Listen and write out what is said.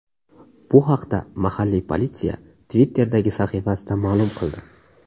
Bu haqda mahalliy politsiya Twitter’dagi sahifasida ma’lum qildi .